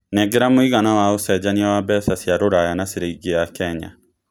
nengera mũigana wa ũcenjanĩa wa mbeca cĩa rũraya na cĩrĩngĩ ya Kenya